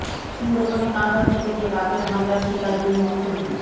সুন্দরবনে কাঁকড়া ধরতে গিয়ে বাঘের হামলার শিকার দুই মৎস্যজীবী